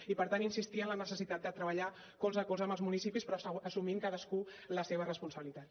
i per tant insistir en la necessitat de treballar colze a colze amb els municipis però assumint cadascú la seva responsabilitat